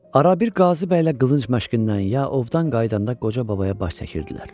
Arabir Qazı bəylə qılınc məşqindən ya ovdan qayıdanda qoca babaya baş çəkirdilər.